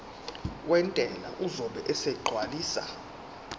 wentela uzobe esegcwalisa